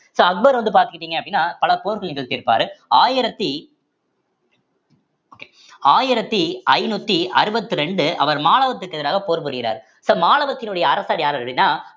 so Akbar வந்து பார்த்துக்கிட்டீங்க அப்படின்னா பல போர்கள் நிகழ்த்தியிருப்பாரு ஆயிரத்தி ஆயிரத்தி ஐந்நூத்தி அறுபத்தி இரண்டு அவர் மாலவத்திற்கு எதிராக போர் புரிகிறார் so மாலவத்தினுடைய அரசர் யாரு அப்படின்னா